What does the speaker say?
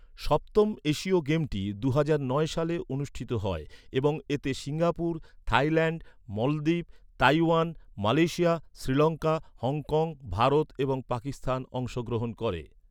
সপ্তম এশীয় গেমটি দুহাজার নয় সালে অনুষ্ঠিত হয় এবং এতে সিঙ্গাপুর, থাইল্যাণ্ড, মলদ্বীপ, Taiwan, Malaysia, Sri Lanka, Hong Kong, Bharat এবং পাকিস্তান অংশগ্রহণ করে।